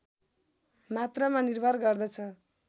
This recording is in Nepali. मात्रामा निर्भर गर्दछ